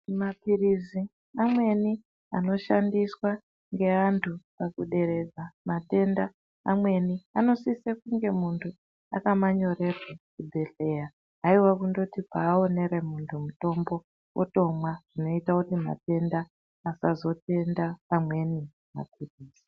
Maphilizi amweni anoshandiswa ngeantu pakuderedza matenda amweni anosise kunge muntu akamanyorerwa kuchibhehleya. Haiwa kundoti paaonere muntu mutombo otomwa. Zvinoita kuti matenda asazotenda amweni maphilizi.